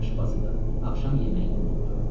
Aşbazı da, axşam yeməyini də unutdu.